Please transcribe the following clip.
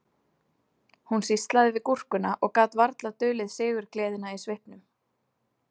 Hún sýslaði við gúrkuna og gat varla dulið sigurgleðina í svipnum